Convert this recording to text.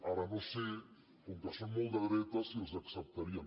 ara no sé com que són molt de dretes si els acceptarien